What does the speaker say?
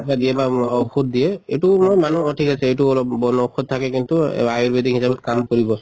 কিবা দিয়ে বা ঔষ্ধ দিয়ে এইটো মই মানে অ ঠিক আছে এইটো অলপ বন ঔষধ থাকে কিন্তু আয়োৰ্বেদিক হিচাপত কাম কৰিব